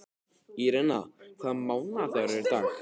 Írena, hvaða mánaðardagur er í dag?